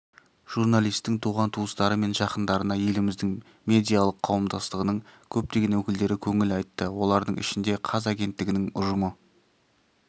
журналистің туған-туыстары мен жақындарына еліміздің медиалық қауымдастығының көптеген өкілдері көңіл айтты олардың ішінде қаз агенттігінің ұжымы